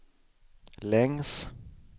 längs